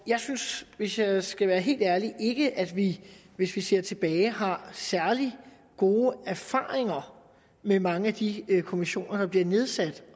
jeg synes hvis jeg skal være helt ærlig ikke at vi hvis vi ser tilbage har særlig gode erfaringer med mange af de kommissioner der bliver nedsat